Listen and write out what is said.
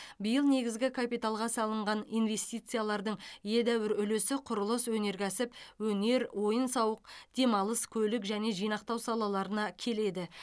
биыл негізгі капиталға салынған инвестициялардың едәуір үлесі құрылыс өнеркәсіп өнер ойын сауық демалыс көлік және жинақтау салаларына келеді